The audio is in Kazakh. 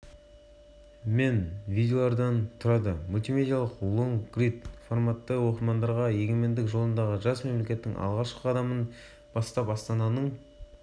басшылығымен елді дамытуға қатысты қыруар істер атқарылды бүгінде қазақстандықтар бұл жайлы әлемге жар салып мақтанышпен